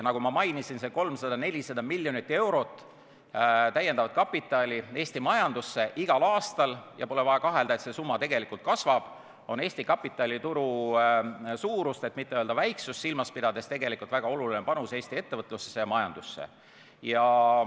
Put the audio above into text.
Nagu ma mainisin, see 300–400 miljonit eurot täiendavat kapitali Eesti majandusse igal aastal – ja pole vaja kahelda, et see summa tegelikult kasvab – on Eesti kapitalituru suurust, et mitte öelda väiksust silmas pidades väga oluline panus Eesti ettevõtlusesse ja majandusse.